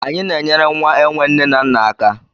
Anyị na-enyere nwa enwe nne na nna aka.